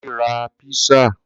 Kunle ra písà.